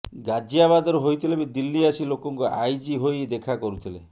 ଗାଜିଆବାଦର ହୋଇଥିଲେ ବି ଦିଲ୍ଲୀ ଆସି ଲୋକଙ୍କୁ ଆଇଜି ହୋଇ ଦେଖା କରୁଥିଲେ